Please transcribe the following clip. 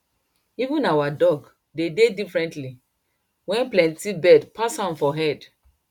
even our dog dey differently wen plenty bird pass am for head